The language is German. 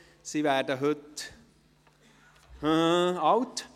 Sie werden heute ... alt.